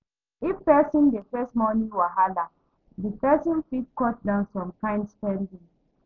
If person dey face money wahala, di person fit cut down some kind spending